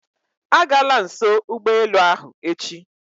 Agala nso ụgbọelu ahụ echi